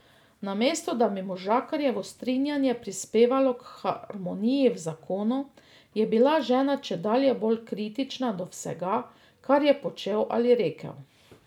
Namesto da bi možakarjevo strinjanje prispevalo k harmoniji v zakonu, je bila žena čedalje bolj kritična do vsega, kar je počel ali rekel.